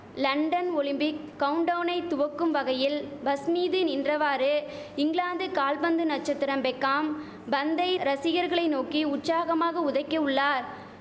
London Olympic கவுன்டௌவ்ணை துவக்கும் வகையில் பஸ் மீது நின்றவாறு இங்கிலாந்து கால்பந்து நச்சத்திரம் பெக்காம் பந்தை ரசிகர்களை நோக்கி உற்சாகமாக உதைக்க உள்ளார்